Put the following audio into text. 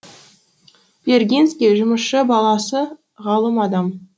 вергинский жұмысшы баласы ғалым адам